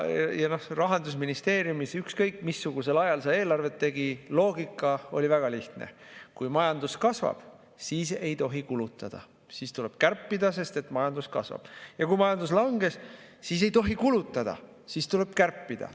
Rahandusministeeriumis, ükskõik missugusel ajal sa eelarvet tegid, loogika oli väga lihtne: kui majandus kasvab, siis ei tohi kulutada, vaid tuleb kärpida, sest et majandus kasvab, ja kui majandus langeb, siis ei tohi kulutada, vaid tuleb kärpida.